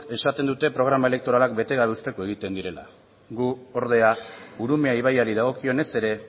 esaten dute programa elektoralak bete egiten direla gu ordea urumea ibaiari dagokionez ere